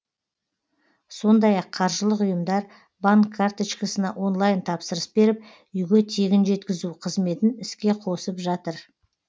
сондай ақ қаржылық ұйымдар банк карточкасына онлайн тапсырыс беріп үйге тегін жеткізу қызметін іске қосып жатыр